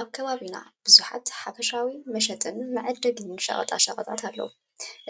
አብ ከባቢና ቡዙሓት ሓፈሻዊ መሸጢን መዐደጊን ሸቀጣ ሸቀጣት አለው፡፡